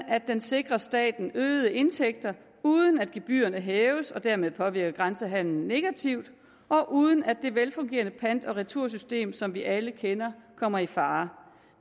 at den sikrer staten øgede indtægter uden at gebyrerne hæves og dermed påvirker grænsehandelen negativt og uden at det velfungerende pant og retursystem som vi alle kender kommer i fare